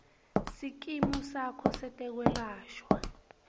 sikimu sakho setekwelashwa